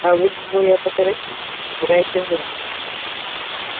а вы двое поторопитесь не теряйте время